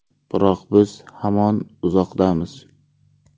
Biroq biz hamon uzoqdamiz.